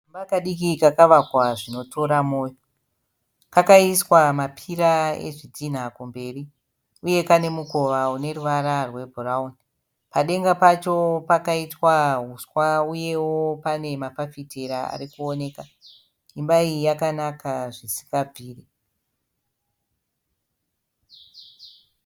Kamba kadiki kakavakwa zvinotora moyo. Kakaiswa mapira ezvidhina kumberi uye kane mukova une ruvara rwebhurauni. Padenga pacho pakaitwa uswa uyewo pane mafafitera ari kuoneka. Imba iyi yakanaka zvisingabviri.